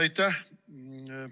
Aitäh!